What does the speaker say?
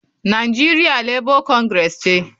Nigeria Labour Congress ce.